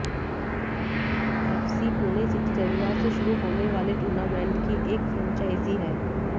FC Pune city रविवार से शुरू होने वाले टूर्नमेंट की एक फ्रेंचाइजी है